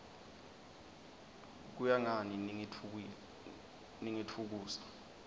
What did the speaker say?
kuya ngani ningitfukusa